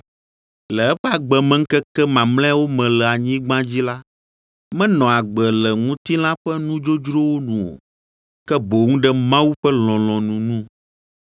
Le eƒe agbemeŋkeke mamlɛawo me le anyigba dzi la, menɔ agbe le ŋutilã ƒe nudzodzrowo nu o, ke boŋ ɖe Mawu ƒe lɔlɔ̃nu nu.